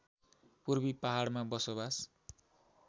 पूर्वी पहाडमा बसोवास